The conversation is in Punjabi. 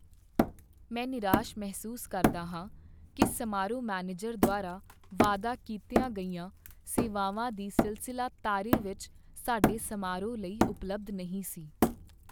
ਮੈਂ ਨਿਰਾਸ਼ ਮਹਿਸੂਸ ਕਰਦਾ ਹਾਂ ਕੀ ਸਮਾਰੋਹ ਮੈਨੇਜਰ ਦੁਆਰਾ ਵਾਅਦਾ ਕੀਤੀਆਂ ਗਈਆਂ ਸੇਵਾਵਾਂ ਦੀ ਸਿਲਸਿਲਾ ਤਾਰੇ ਵਿੱਚ ਸਾਡੇ ਸਮਾਰੋਹ ਲਈ ਉਪਲਬਧ ਨਹੀਂ ਸੀ।